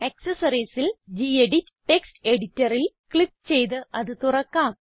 Accessoriesൽ gedit text Editorൽ click ചെയ്ത് അത് തുറക്കാം